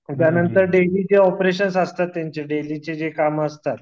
त्यांनतर डेली जे ऑपरेशन्स असतात त्यांचे जे देलीचे कामं असतात